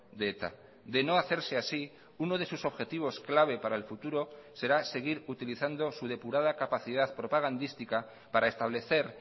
de eta de no hacerse así uno de sus objetivos clave para el futuro será seguir utilizando su depurada capacidad propagandística para establecer